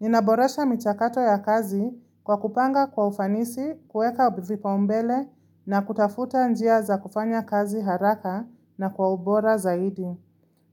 Ninaboresha michakato ya kazi kwa kupanga kwa ufanisi, kueka vipaombele na kutafuta njia za kufanya kazi haraka na kwa ubora zaidi.